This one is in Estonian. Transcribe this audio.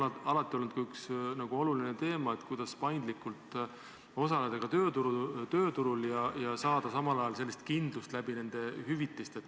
See on alati olnud üks oluline teema, kuidas paindlikult osaleda ka tööturul ja saada samal ajal kindlust nende hüvitistega.